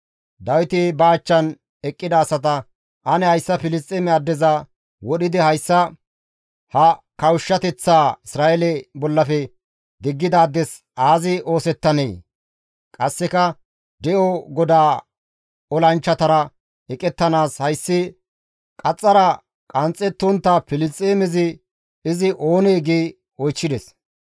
Dawiti ba achchan eqqida asata, «Ane hayssa Filisxeeme addeza wodhidi hayssa ha kawushshateththaa Isra7eele bollafe diggidaades aazi oosettanee? Qasseka de7o GODAA olanchchatara eqettanaas hayssi qaxxara qanxxettontta Filisxeemezi izi oonee?» gi oychchides.